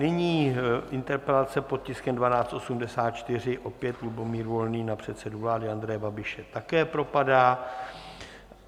Nyní interpelace pod tiskem 1284, opět Lubomír Volný, na předsedu vlády Andreje Babiše, také propadá.